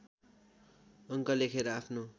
अङ्क लेखेर आफ्नो